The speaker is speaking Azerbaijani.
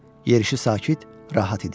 Yerişi sakit, rahat idi.